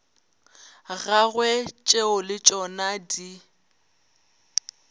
gagwe tšeo le tšona di